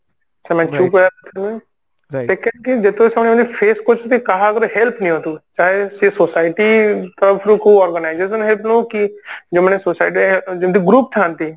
ଯେତେ ସମୟ ବି face କରୁଛନ୍ତି କାହାର ଗୋଟେ help ନିଅନ୍ତୁ ଚାହେ ସେ society ତରଫରୁ କୋଉ organization ର ହେଲ୍ପ ନଉ କି ଯେଉଁମାନେ society ରେ ଯୋଉ group ଥାନ୍ତି